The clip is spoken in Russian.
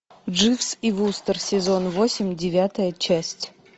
дживс и вустер сезон восемь девятая часть